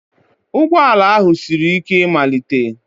Ụgbọ ala ahụ siri ike ịmalite